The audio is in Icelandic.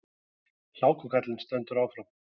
Hlákukaflinn stendur áfram